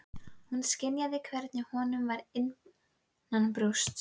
Hún skynjaði hvernig honum var innanbrjósts!